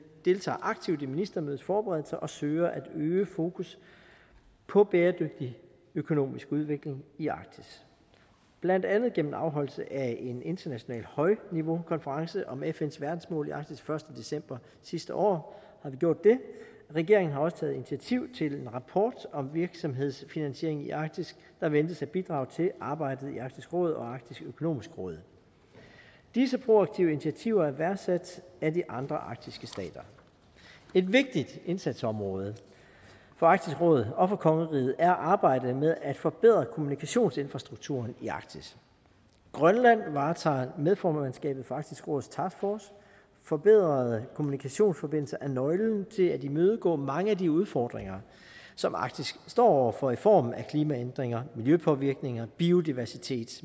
deltager aktivt i ministermødets forberedelser og søger at øge fokus på bæredygtig økonomisk udvikling i arktis blandt andet gennem afholdelse af en international højniveaukonference om fns verdensmål i arktis den første december sidste år regeringen har også taget initiativ til en rapport om virksomhedsfinansiering i arktis der ventes at bidrage til arbejdet i arktisk råd og arktisk økonomisk råd disse proaktive initiativer er værdsat af de andre arktiske stater et vigtigt indsatsområde for arktisk råd og for kongeriget er arbejdet med at forbedre kommunikationsinfrastrukturen i arktis grønland varetager medformandskabet for arktisk råds taskforce forbedrede kommunikationsforbindelser er nøglen til at imødegå mange af de udfordringer som arktis står over for i form af klimaændringer miljøpåvirkninger biodiversitet